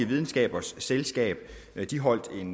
videnskabernes selskab holdt